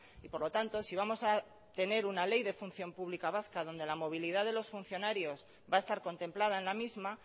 y por lo tanto si vamos a tener una ley de función pública vasca donde la movilidad de los funcionarios va a estar contemplada en la misma